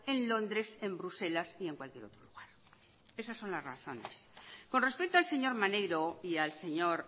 en londres en bruselas y en cualquier otro lugar esas son las razones con respecto al señor maneiro y al señor